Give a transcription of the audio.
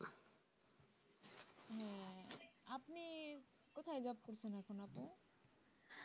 হ্যা আপনি কোথায় job করছেন এখন আপু